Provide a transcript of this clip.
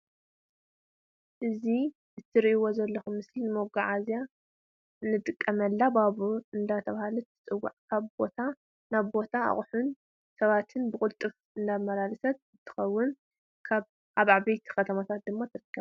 እዚ ትርእዎ ዘለኩም ምስሊ ንመጓዕዝያ ንጥቀመላ ባቡር እንዳተባሃለት ትፅዋዕ ካብ ቦታ ናብ ቦታ ኣቁሑን ሰባትን ብቁልጡት እተማላልስ እንትኮን ኣብ ዓበይቲ ከተማታት ድማ ትርከብ።